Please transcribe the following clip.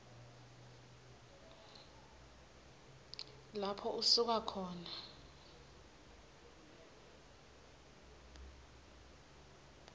lapho usuka khona